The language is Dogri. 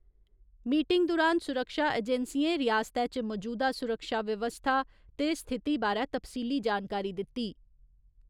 मीटिंग दुरान सुरक्षा एजेंसियें रियासतै च मजूदा सुरक्षा बवस्था ते स्थिति बारै तफसीली जानकारी दित्ती।